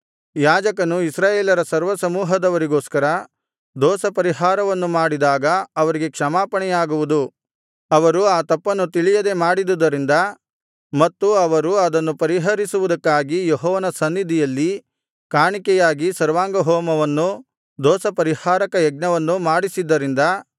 ಯಾಜಕನು ಇಸ್ರಾಯೇಲರ ಸರ್ವಸಮೂಹದವರಿಗೋಸ್ಕರ ದೋಷಪರಿಹಾರವನ್ನು ಮಾಡಿದಾಗ ಅವರಿಗೆ ಕ್ಷಮಾಪಣೆಯಾಗುವುದು ಅವರು ಆ ತಪ್ಪನ್ನು ತಿಳಿಯದೆ ಮಾಡಿದುದರಿಂದ ಮತ್ತು ಅವರು ಅದನ್ನು ಪರಿಹರಿಸುವುದಕ್ಕಾಗಿ ಯೆಹೋವನ ಸನ್ನಿಧಿಯಲ್ಲಿ ಕಾಣಿಕೆಯಾಗಿ ಸರ್ವಾಂಗ ಹೋಮವನ್ನೂ ದೋಷಪರಿಹಾರಕ ಯಜ್ಞವನ್ನೂ ಮಾಡಿಸಿದ್ದರಿಂದ